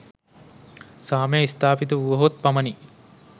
සාමය ස්ථාපිත වුවහොත් පමණි.